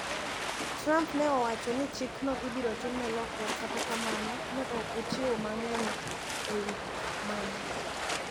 Trump ne owacho ni chikno ibiro timne lokruok kata kamano ne ok ochiwo mang`eny e wi mano.